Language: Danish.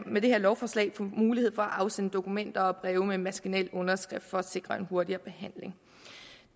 med det her lovforslag få mulighed for at afsende dokumenter og breve med maskinel underskrift for at sikre en hurtigere behandling